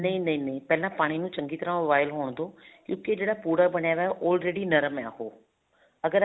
ਨਹੀਂ ਨਹੀਂ ਪਹਿਲਾਂ ਪਾਣੀ ਨੂੰ ਚੰਗੀ ਤਰ੍ਹਾਂ boil ਹੋਣ ਦੋ ਕਿਉਂਕਿ ਜਿਹੜਾ ਪੁੜਾ ਬਣਿਆ ਹੈ already ਨਰਮ ਹੈ ਉਹ